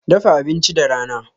Dafa abinci da rana.